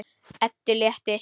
Eddu létti.